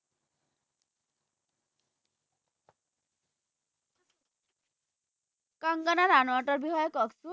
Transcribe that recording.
কংগনা ৰানাৱটৰ বিষয়ে কওকচোন